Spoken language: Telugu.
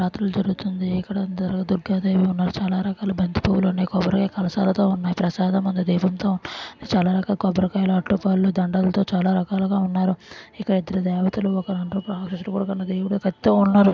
నవరాత్రులు జరుగుతుంది ఇక్కడ అందరూ దుర్గాదేవి ఉన్నారు చాలా రకాల బంతిపూలు ఉన్నాయి కలషాలతో ఉన్నాయి ప్రసాదం మన దేవునితో చాలా రకాల కొబ్బరికాయలు అరటి పళ్ళు దండలతో చాలా రకాలుగా ఉన్నారు ఇక్కడ ఇద్దరు దేవతలు ఒకరు కన్నది ఈవిడ పెద్ద.